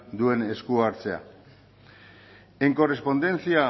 duen esku hartzea en correspondencia